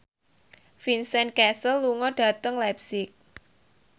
Vincent Cassel lunga dhateng leipzig